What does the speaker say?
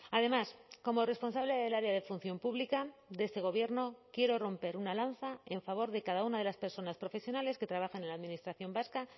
además como responsable del área de función pública de este gobierno quiero romper una lanza en favor de cada una de las personas profesionales que trabajan en la administración vasca